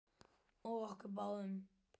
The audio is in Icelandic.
Og okkur báðar.